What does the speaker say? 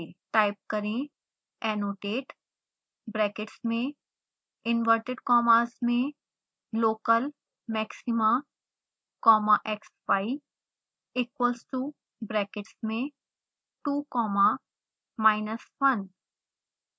type करें annotate brackets में inverted commas में local maxima comma xy equals to brackets में 2 comma minus 1